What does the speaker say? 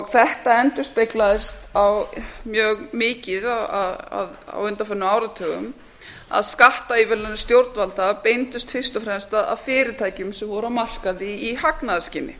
þetta endurspeglaðist mjög mikið á undanförnum áratugum að skattaívilnanir stjórnvalda beindust fyrst og fremst að fyrirtækjum sem voru á markaði í hagnaðarskyni